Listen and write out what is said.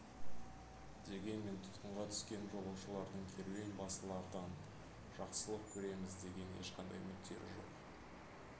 дегенмен тұтқынға түскен жолаушылардың керуен басылардан жақсылық көреміз деген ешқандай үміттері жоқ